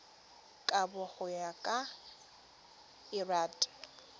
kabo go ya ka lrad